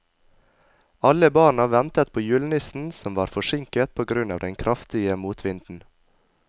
Alle barna ventet på julenissen, som var forsinket på grunn av den kraftige motvinden.